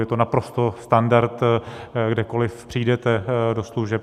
Je to naprosto standard, kdekoliv přijdete do služeb.